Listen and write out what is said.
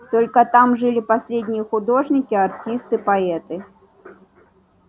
только там жили последние художники артисты поэты